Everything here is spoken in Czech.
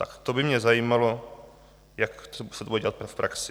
Tak to by mě zajímalo, jak se to bude dělat v praxi.